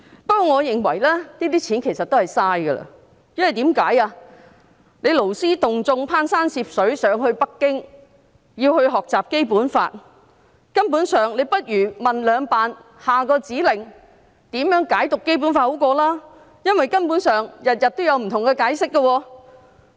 不過，我認為這些錢其實是浪費的，因為勞師動眾，攀山涉水到北京，學習《基本法》，倒不如詢問"兩辦"，下一個指令是甚麼，如何解讀《基本法》為好，因為每天有不同的解釋。